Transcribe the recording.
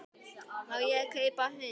Má ég kaupa hund?